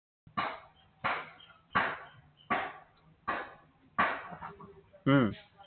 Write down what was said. উম